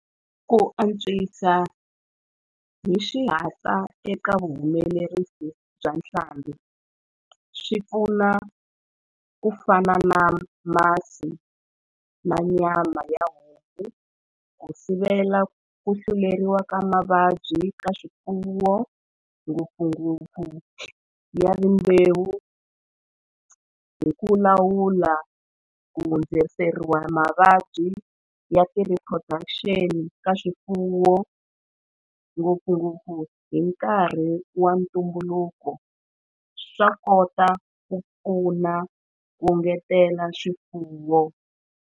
Ku antswisa hi xihatla eka vuhumelerisi byaswiharh bya hlambi swi pfuna ku fana na masi na nyama ya homu ku sivela ku tluleriwa ka mavabyi ka swifuwo ngopfungopfu ya rimbewu hi ku lawula ku hundziseriwa mavabyi ya ti-recosumption ka swifuwo ngopfungopfu hi nkarhi wa ntumbuluko swa kota ku pfuna ku ngetela swifuwo.